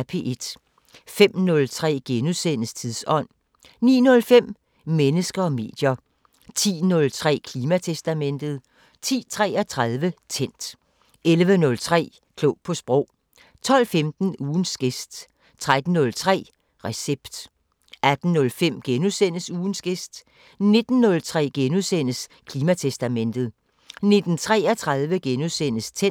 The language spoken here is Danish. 05:03: Tidsånd * 09:05: Mennesker og medier 10:03: Klimatestamentet 10:33: Tændt 11:03: Klog på sprog 12:15: Ugens gæst 13:03: Recept 18:05: Ugens gæst * 19:03: Klimatestamentet * 19:33: Tændt *